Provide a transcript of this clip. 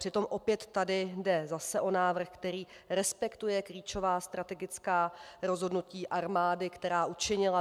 Přitom opět tady jde zase o návrh, který respektuje klíčová strategická rozhodnutí armády, která učinila.